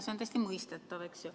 See on täiesti mõistetav.